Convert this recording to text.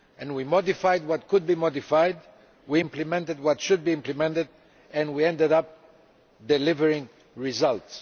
We modified what could be modified, we implemented what should be implemented, and we ended up delivering results.